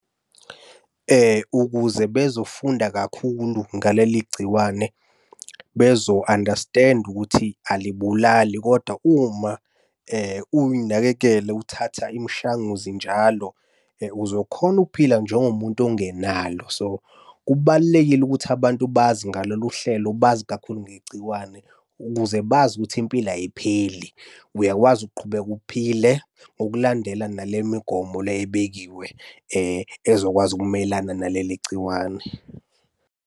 Ukuze bezofunda kakhulu ngaleli gciwane, bezo-understand-a ukuthi alibulali kodwa uma uy'nakekela uthatha imishanguzo njalo, uzokhona ukuphila njengomuntu ongenalo. So, kubalulekile ukuthi abantu bazi ngalolu hlelo bazi kakhulu ngegciwane ukuze bazi ukuthi impilo ayipheli. Uyakwazi ukuqhubeka uphile ngokulandela nale migomo le ebekiwe ezokwazi ukumelana naleli gciwane.